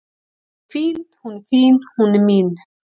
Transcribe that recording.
Hún er fín, hún er fín, hún er mín.